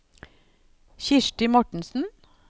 Kirsti Mortensen